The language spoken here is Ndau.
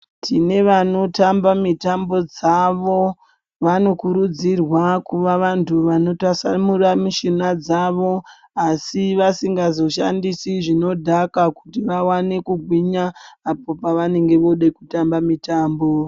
Tine vanotamba mitambo dzavo vanokurudzirwa kuvavantu vanotasamura mishuna dzavo. Asi vasingazishandisi zvinodhaka kuti vavane kugwinya apo pavanenge vode kutamba mitambo.